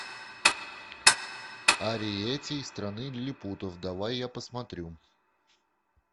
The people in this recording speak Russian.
ариэтти из страны лилипутов давай я посмотрю